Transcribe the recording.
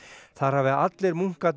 þar hafi allir munkarnir